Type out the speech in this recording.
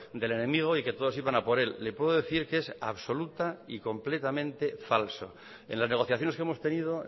del enemigo y que todos iban a por él le puedo decir que es absoluta y completamente falso en las negociaciones que hemos tenido